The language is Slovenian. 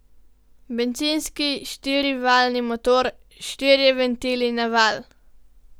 Bencinski štirivaljni motor, štirje ventili na valj.